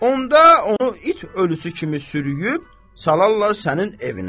Onda onu it ölüsü kimi sürüyüb salarlar sənin evinə.